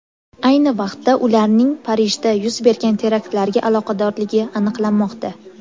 Ayni vaqtda ularning Parijda yuz bergan teraktlarga aloqadorligi aniqlanmoqda.